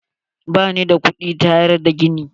Ba ni da kudin taada gini.